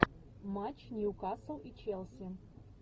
матч ньюкасл и челси